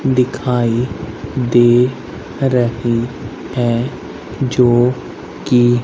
दिखाई दे रहे है जो की--